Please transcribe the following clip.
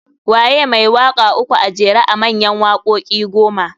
Waye mai waka uku a jera a mayan wakoki goma?